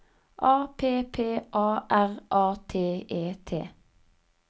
A P P A R A T E T